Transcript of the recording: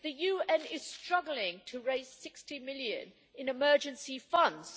The UN is struggling to raise 60 million in emergency funds.